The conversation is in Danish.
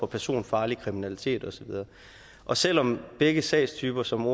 personfarlig kriminalitet og så videre og selv om begge sagstyper som